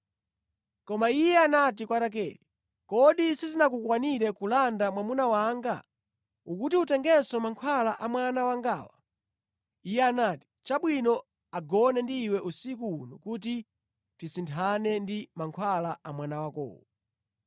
Koma iye anati kwa Rakele, “Kodi sizinakukwanire kulanda mwamuna wanga? Ukuti utengenso mankhwala a mwana wangawa.” Iye anati, “Chabwino, agone ndi iwe usiku uno kuti tisinthane ndi mankhwala a mwana wakowo.”